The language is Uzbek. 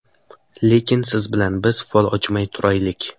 Lekin siz bilan biz fol ochmay turaylik.